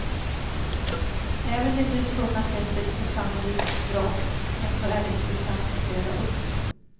Även det nu funna skeppet är sannolikt ett vrak, ändå är det intressant att gräva upp.